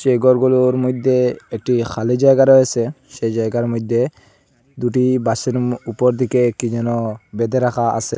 এই ঘরগুলোর মইধ্যে একটি খালি জায়গা রয়েসে সেই জায়গার মইধ্যে দুটি বাঁশের উপর দিকে কি যেন বেঁধে রাখা আসে